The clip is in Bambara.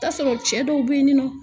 T'a sɔrɔ cɛ dɔw be yen ni nɔ